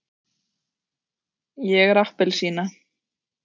ég er appelsína.